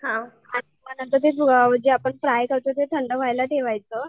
हा मग नंतर जे आपण फ्राय करतो ते थंड व्हायला ठेवायचं.